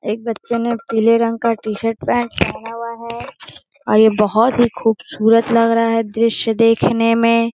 एक बच्चे ने पीले रंग का टी-शर्ट पैंट पहना हुआ है और ये बहोत ही खूबसूरत लग रहा है दृश्य देखने मे --